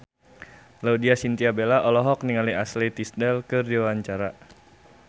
Laudya Chintya Bella olohok ningali Ashley Tisdale keur diwawancara